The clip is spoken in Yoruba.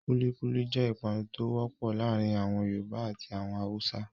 Kulíkúlí jẹ́ ìpanu tó wọ́pọ̀ láàárin àwọn Yorùbá àti àwọn Haúsá.